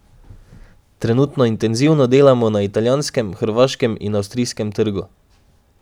Trenutno intenzivno delamo na italijanskem, hrvaškem in avstrijskem trgu.